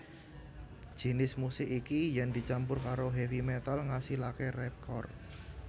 Jinis musik iki yèn dicampur karo heavy metal ngasilaké rapcore